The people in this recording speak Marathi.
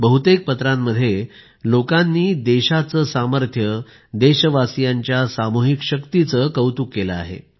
बहुतेक पत्रांमध्ये लोकांनी देशाचे सामर्थ्य देशवासीयांच्या सामूहिक शक्तीचे कौतुक केले आहे